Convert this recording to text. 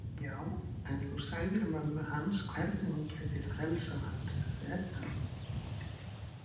Já, en þú sagðir mömmu hans hvernig hún gæti frelsað hann, sagði Edda.